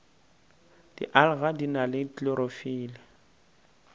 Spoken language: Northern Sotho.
dialga di na le klorofile